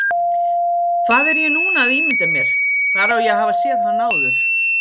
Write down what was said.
Hvað er ég núna að ímynda mér, hvar á ég að hafa séð hann áður?